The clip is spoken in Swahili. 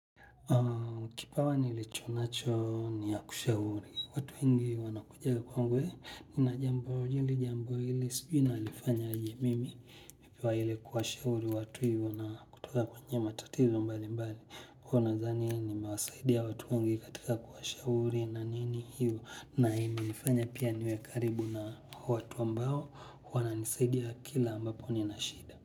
Kipawa nilichonacho niya kushahuri, watu wengi wanakuja kwangu e, nina jambo hili jambo hili, sijui nalifanya aje mimi, mipiwa ile kuwa shahuri watu yu wana kutoka kwenye matatizo mbali mbali, kuwa nadhani ni mewasaidia watu wengi katika kuwa shauri na nini hiyo, na imenifanya pia niwe karibu na watu ambao wananisaidia kila ambapo nina shida.